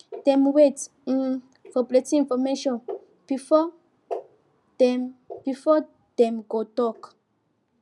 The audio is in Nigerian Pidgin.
dem wait um for plenty information before dem before dem go talk